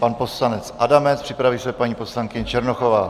Pan poslanec Adamec, připraví se paní poslankyně Černochová.